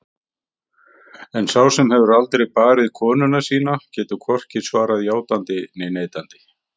En sá sem hefur aldrei barið konuna sína getur hvorki svarað játandi né neitandi.